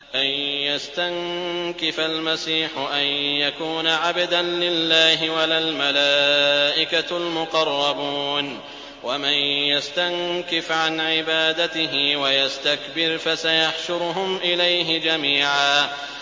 لَّن يَسْتَنكِفَ الْمَسِيحُ أَن يَكُونَ عَبْدًا لِّلَّهِ وَلَا الْمَلَائِكَةُ الْمُقَرَّبُونَ ۚ وَمَن يَسْتَنكِفْ عَنْ عِبَادَتِهِ وَيَسْتَكْبِرْ فَسَيَحْشُرُهُمْ إِلَيْهِ جَمِيعًا